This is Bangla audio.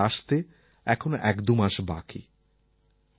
বর্ষাকাল আসতে এখনও ১২ মাস বাকি